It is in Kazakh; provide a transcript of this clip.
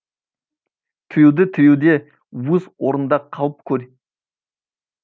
тілеуіңді тілеуде өз орнында қалып көл